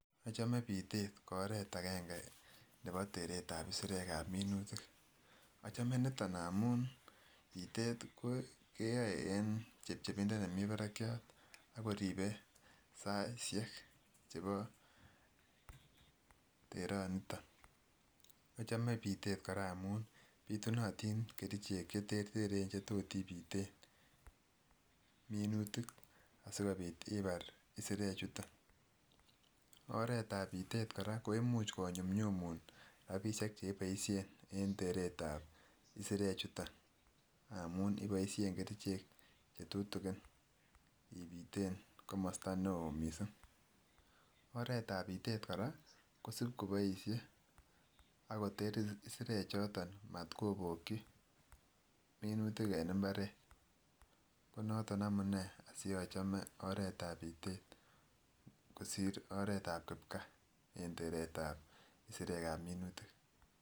Ochome pitet ko oret agenge nebo teret ab isirek ab minutik ,ochome niton ngamun pitet keyoe en chepchepindo nemii barakiat akoribe saisiek chebo teroniton. Ochome pitet koraa ngamun pitunotin kerichek cheterteren chetot ipiten mnutik asikopit imar isirek chuton. Oret ab pitet koraa ko imunch konyumnyumun rabishek cheboishen en teret ab isirek chuton ngmun iboishek kerichek chetutukin ipiten komosto neo missing , oret ab pitet koraa kosib koboishe ak koter isirek choton matkoboki minutik en imbaret ,ko noton amunee asiochom oret ab pitet kosir oret ab kipgaa en teret ab isirek ab munutik.